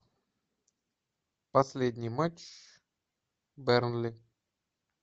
последний матч бернли